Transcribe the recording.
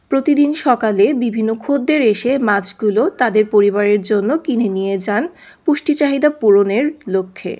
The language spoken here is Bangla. প্রতিদিন সকালে বিভিন্ন খদ্দের এসে মাছগুলো তাদের পরিবারের জন্য কিনে নিয়ে যান পুষ্টি চাহিদা পূরণের লক্ষ্যে।